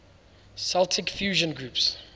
celtic fusion groups